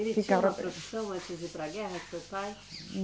Ele tinha uma profissão antes de ir para a guerra, seu pai?